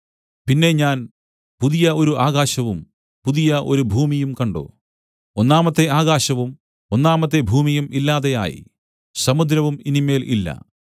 പിന്നെ ഞാൻ പുതിയ ഒരു ആകാശവും പുതിയ ഒരു ഭൂമിയും കണ്ട് ഒന്നാമത്തെ ആകാശവും ഒന്നാമത്തെ ഭൂമിയും ഇല്ലാതെ ആയി സമുദ്രവും ഇനി മേൽ ഇല്ല